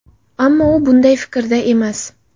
Ammo u bunday fikrda emas.